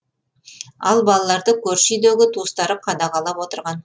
ал балаларды көрші үйдегі туыстары қадағалап отырған